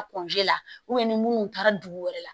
A la ni munnu taara dugu wɛrɛ la